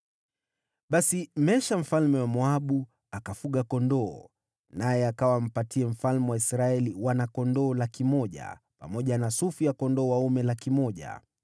Basi Mesha mfalme wa Moabu akafuga kondoo, naye akawa ampatie mfalme wa Israeli wana-kondoo 100,000 pamoja na sufu ya kondoo dume 100,000.